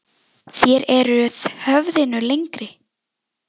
Þér eruð höfðinu lengri.